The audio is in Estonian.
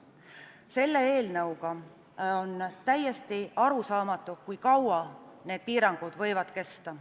Selle eelnõu puhul on täiesti arusaamatu, kui kaua need piirangud võivad kesta.